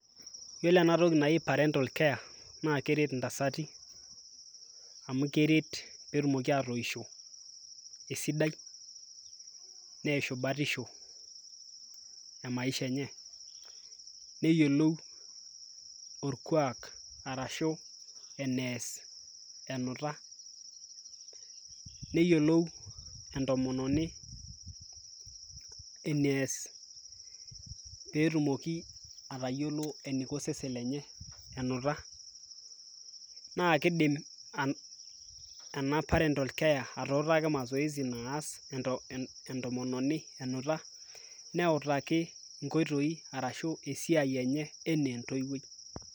iyiolo ena toki naji parental care naa keret intasati, amu keret pee etumoki aatoisho esiai, neishu batisho emaisha enye, neyiolou orkuaak arashu enees enuta. neyiolou entomononi enees pee etumoki atayiolo eniko osesen lenye enuta. naa kidim ena parental care atuutaki masoesi naas eton enuta, neutaki esiai enye anaa entoiwuoi.